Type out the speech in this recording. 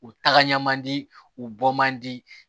U tagama man di u bɔ man di